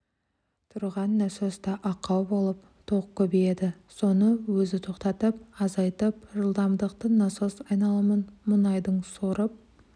тұрған насоста ақау болып тоқ көбейеді соны өзі тоқтатып азайтып жылдамдықты насос айналымын мұнайдың сорып